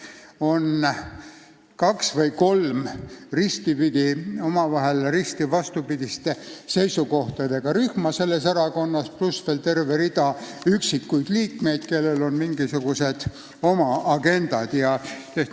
Selles erakonnas on kaks või kolm risti vastupidiste seisukohtadega rühma, pluss veel terve rida üksikuid liikmeid, kellel on mingisugused oma agendad.